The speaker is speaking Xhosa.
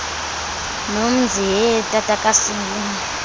nomzi hee tatakasibu